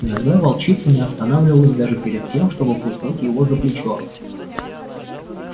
иногда волчица не останавливалась даже перед тем чтобы куснуть его за плечо